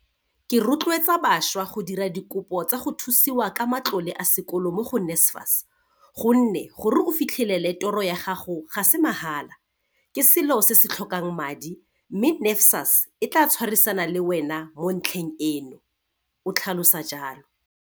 "Ke rotleotsa bašwa go dira dikopo tsa go thusiwa ka matlole a sekolo mo go NSFAS gonne gore o fitlhe lele toro ya gago ga se ma hala, ke selo se se tlhokang madi, mme NSFAS e tla tshwarisana le wena mo ntlheng eno," o tlhalosa jalo.